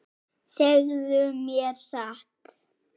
Segðu mér satt.